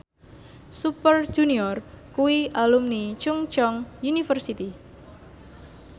Super Junior kuwi alumni Chungceong University